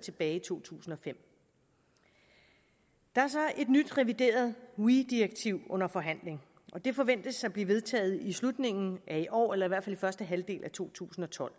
tilbage i to tusind og fem der er så et nyt revideret weee direktiv under forhandling det forventes at blive vedtaget i slutningen af i år eller i hvert fald i første halvdel af to tusind og tolv